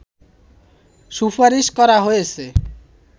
সুপারিশ করা হয়েছে